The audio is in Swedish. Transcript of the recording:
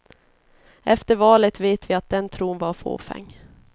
Efter valet vet vi att den tron var fåfäng.